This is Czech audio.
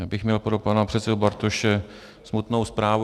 Já bych měl pro pana předsedu Bartoše smutnou zprávu.